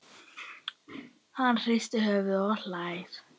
Hann hristir höfuðið og hlær.